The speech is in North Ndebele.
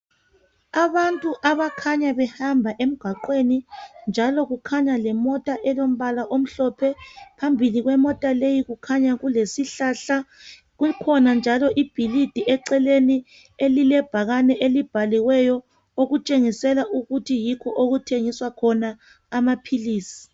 Abantu abakhanya behamba emgwaqweni ,njalo kukhanya lemota elombala omhlophe phambili kwemota leyi kukhanya kulesihlahla, kukhona njalo ibhilidi eceleni elilebhakane elibhaliweyo okutshengisela ukuthi yikho okuthengiswa amaphilisi.